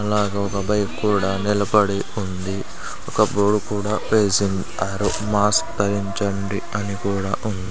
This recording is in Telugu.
అలాగే ఒక బైక్ కూడా నిలపడి ఉంది ఒక బోర్డ్ కూడా మాస్క్ ధరించండి అని కూడా ఉంది --